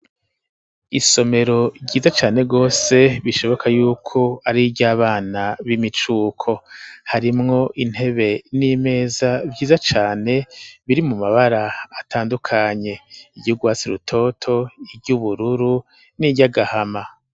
Isomero ryiza cane rwose bishoboka yuko ariryo abana b'imicuko, harimwo intebe n'imeza vyiza cane biri mu mabara atandukanye iryougwasi rutoto iryo ubururu n'iryo agahama.